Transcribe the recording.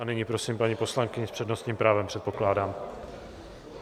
A nyní prosím paní poslankyni s přednostním právem, předpokládám.